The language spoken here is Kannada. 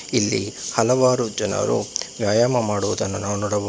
ಇಲ್ಲಿ ಹಲವಾರು ಜನರು ವ್ಯಾಯಾಮ ಮಾಡುವುದನ್ನು ನಾವು ನೋಡಬಹುದು.